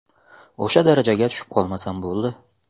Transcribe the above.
O‘sha darajaga tushib qolmasam bo‘ldi.